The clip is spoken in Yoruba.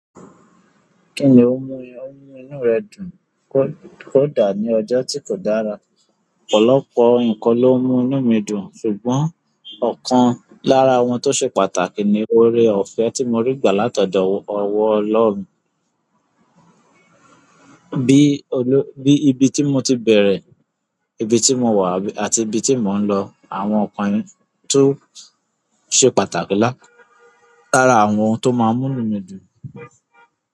Kí ni ó mú inú rẹ dùn kódà ní ọjọ́ tí kò dára? Ọ̀pọ̀lọpọ̀ nǹkan ló mú inú mi dùn, ṣùgbọ́n ọ̀kan lára àwọn tó ṣe pàtàkì ni oore-ọ̀fẹ́ tí mo rí gbà látọ̀dọ̀ ọwọ́ Ọlọ́run. Bí ibi tí mo ti bẹ̀rẹ̀, ibi tí mo wà àti ibi tí mò ń lọ. Àwọn nǹkan yìí tó ṣe pàtàkì lára àwọn tó máa ń mú inú mi dùn.